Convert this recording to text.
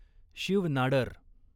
Shiv Nadar